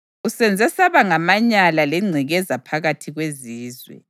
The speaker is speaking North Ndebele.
Usenze saba ngamanyala lengcekeza phakathi kwezizwe.